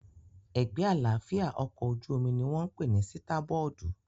Ẹ̀gbẹ́ àlàáfíà ọkọ̀ ojú-omi ní wọ́n pè ní sítábọ́ọ̀dù